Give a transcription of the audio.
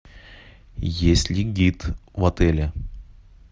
есть ли гид в отеле